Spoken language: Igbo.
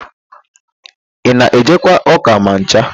Ị na-ejekwa ụ́kà ma ncha?